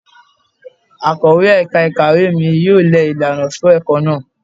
Akọ̀wé ẹ̀ka ìkàwé mi yóò lẹ ìlànà fún ẹ̀kọ́ náà.